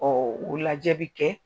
o lajɛ bi kɛ.